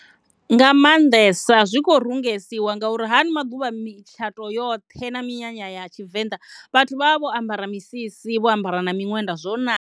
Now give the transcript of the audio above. Nda mannḓesa zwi khou rungesiwa ngauri haano maḓuvha mitshato yoṱhe na minyanya ya tshivenḓa vhathu vha vha vho ambara misisi vho ambara na miṅwenda zwo naka.